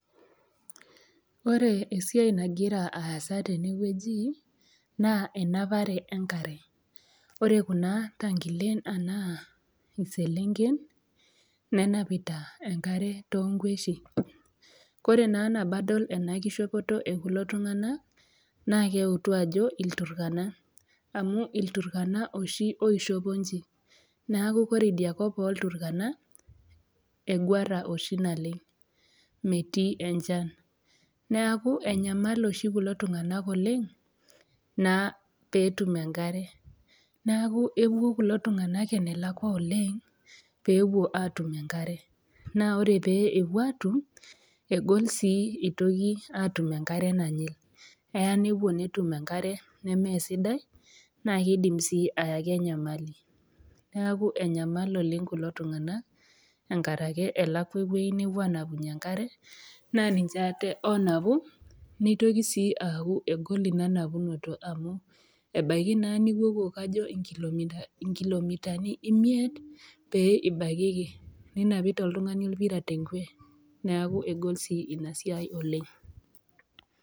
Ore esiai nagira aasa tene wueji naa enapare enkare, ore Kuna tankilen anaa iselenken nenapita enkare too inkweshi, ore naa nabo adol ena keishopoto e kulo tung'ana, naaa keutu ajo ilturkana, amu ilturkana oshi oishopo inji, neaku ore idia kop oo ilturkana, eguara oshi naleng', metii enchan, neaku enyamalu kulo tung'ana oleng' pee etum enkare, neaku epuo kulo tung'ana enelekwa oleng' pee epuo etum enkarre, naa ore pee epuo atum, egol sii eitoki aapuo aatum enkare nanyil, eaya nepuo netum enkare nemee sidai, naa keidimi sii ayaki enyamali, neaku enyamal oleng' kulo tung'ana enkaraki elakwa ewueji napuo aanapunye enkare, naa ninche aate naanapu, neitoki sii aaku egol Ina napunoto amu ebaiki naa nipuopuo kajo inkilomitani imiet pee ibaikiki, ninapita oltung'ani olpirai te enkwe neaku egol sii ena siai oleng'.